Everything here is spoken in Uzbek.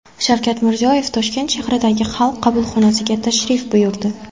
Shavkat Mirziyoyev Toshkent shahridagi Xalq qabulxonasiga tashrif buyurdi.